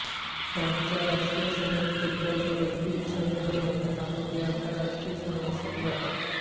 फ्रान्सच्या राष्ट्रीय फुटबॉल व रग्बी संघ हे मैदान आपापल्या आंतरराष्ट्रीय सामन्यांसाठी वापरतात